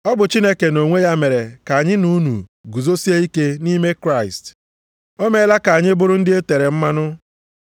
Ọ bụ Chineke nʼonwe ya mere ka anyị na unu guzosie ike nʼime Kraịst. O meela ka anyị bụrụ ndị e tere mmanụ.